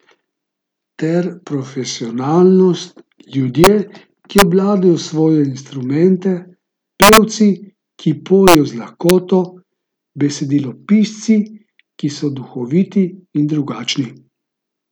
Ter profesionalnost, ljudje, ki obvladajo svoje instrumente, pevci, ki pojejo z lahkoto, besedilopisci, ki so duhoviti in drugačni.